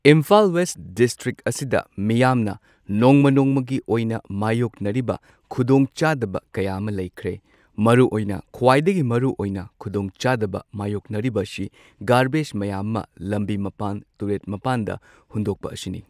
Imphal west district ꯑꯁꯤꯗ ꯃꯤꯌꯥꯝꯅ ꯅꯣꯡꯃ ꯅꯣꯡꯃꯒꯤ ꯑꯣꯏꯅ ꯃꯥꯏꯌꯣꯛꯅꯔꯤꯕ ꯈꯨꯗꯣꯡꯆꯥꯗꯕ ꯀꯌꯥ ꯑꯃ ꯂꯩꯈ꯭ꯔꯦ꯫ ꯃꯔꯨꯑꯣꯏꯅ ꯈ꯭ꯋꯥꯏꯗꯒꯤ ꯃꯔꯨ ꯑꯣꯏꯅ ꯈꯨꯗꯣꯡꯆꯥꯗꯕ ꯃꯥꯏꯌꯣꯛꯅꯔꯤꯕꯁꯤ ꯒꯥꯔꯕꯦꯁ ꯃꯌꯥꯝ ꯑꯃ ꯂꯝꯕꯤ ꯃꯄꯥꯟ ꯇꯨꯔꯦꯜ ꯃꯄꯥꯟꯗ ꯍꯨꯟꯗꯣꯛꯄ ꯑꯁꯤꯅꯤ꯫